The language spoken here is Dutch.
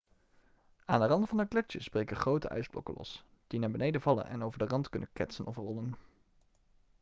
aan de rand van de gletsjers breken grote ijsblokken los die naar beneden vallen en over de rand kunnen ketsen of rollen